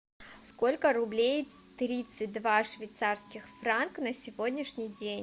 сколько рублей тридцать два швейцарских франка на сегодняшний день